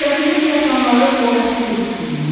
Səsimiz yatanları oyatdı yuxusundan.